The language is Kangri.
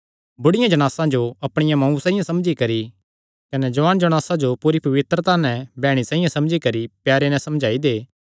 बुढियां जणासां जो अपणिया मांऊ साइआं समझी करी कने जुआन जणासां जो पूरी पवित्रता नैं बैह्णी साइआं समझी करी प्यारे नैं समझाई दे